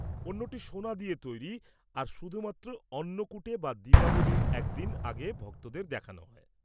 অন্যটি সোনা দিয়ে তৈরি আর শুধুমাত্র অন্নকূটে বা দীপাবলির একদিন আগে ভক্তদের দেখানো হয়।